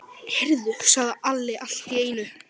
Heyrðu, sagði Alli allt í einu.